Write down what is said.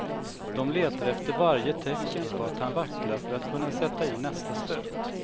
De letar efter varje tecken på att han vacklar för att kunna sätta in nästa stöt.